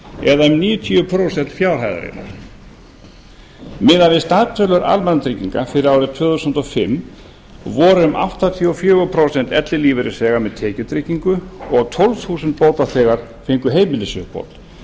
eða um níutíu prósent fjárhæðarinnar miðað við staðtölur almannatrygginga fyrir árið tvö þúsund og fimm voru um áttatíu og fjögur prósent ellilífeyrisþega með tekjutryggingu og tólf þúsund bótaþegar fengu heimilisuppbót